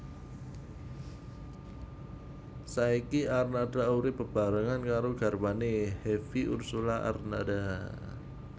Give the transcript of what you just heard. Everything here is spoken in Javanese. Saiki Arnada urip bebarengan karo garwane Hevie Ursulla Arnada